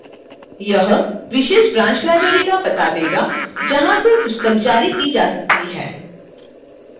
यह विशेष branch library का पता देगा जहां से पुस्तक जारी की जा सकती है